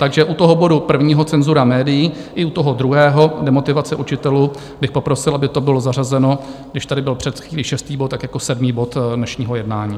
Takže u toho bodu prvního, Cenzura médií, i u toho druhého, Demotivace učitelů, bych poprosil, aby to bylo zařazeno, když tady byl před chvílí šestý bod, tak jako sedmý bod dnešního jednání.